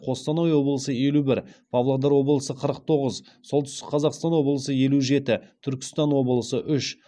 қостанай облысы елу бір павлодар облысы қырық тоғыз солтүстік қазақстан облысы елу жеті түркістан облысы үш